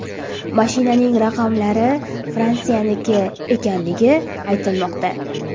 Mashinaning raqamlari Fransiyaniki ekanligi aytilmoqda.